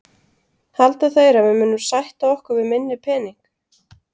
Halda þeir að við munum sætta okkur við minni pening?